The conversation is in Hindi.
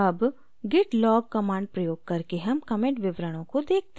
अब git log command प्रयोग करके हम commit विवरणों को देखते हैं